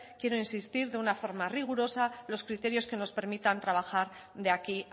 quiero insistir de una forma rigurosa los criterios que nos permitan trabajar de aquí